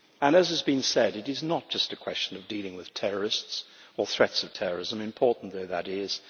As has been said, it is not just a question of dealing with terrorists or threats of terrorism, important though that is